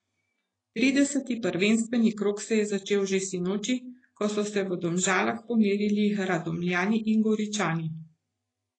Trideseti prvenstveni krog se je začel že sinoči, ko so se v Domžalah pomerili Radomljani in Goričani.